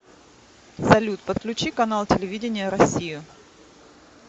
салют подключи канал телевидения россию